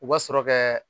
U ka sɔrɔ kɛ